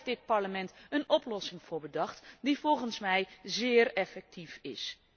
Daar heeft dit Parlement een oplossing voor bedacht, die volgens mij zeer effectief is.